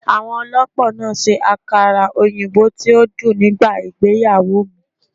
Àwọn olópò náà ṣe àkàrà òyìnbó tí ó dùn nígbà ìgbéyàwó mi